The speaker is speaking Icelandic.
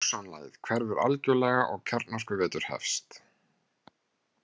Ósonlagið hverfur algjörlega og kjarnorkuvetur hefst.